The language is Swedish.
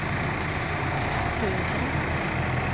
södra